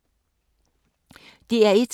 DR1